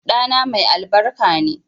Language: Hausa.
Ɗana mai albarka ne